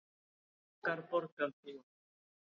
Hörmungar borgarbúa